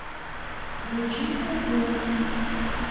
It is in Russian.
включи ку ку